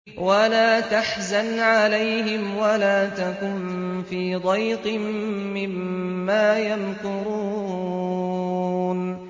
وَلَا تَحْزَنْ عَلَيْهِمْ وَلَا تَكُن فِي ضَيْقٍ مِّمَّا يَمْكُرُونَ